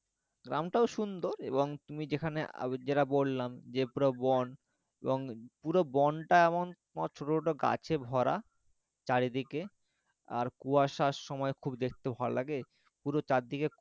গ্রামটাও সুন্দর এবং তুমি যেখানে যেটা বললাম যে পুরো বন এবং পুরো বন টা এমন মানে শুধু গাছে ভরা চারিদিকে আর কুয়াশার সময় খুব দেখতে ভালোলাগে পুরো চারদিকে,